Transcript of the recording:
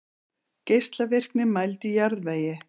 Geislavirkni mæld í jarðvegi.